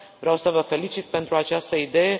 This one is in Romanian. Vreau să vă felicit pentru această idee.